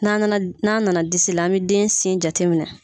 N' n'a nana disi la an bɛ den sen jateminɛ.